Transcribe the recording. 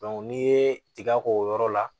n'i ye tiga k'o yɔrɔ la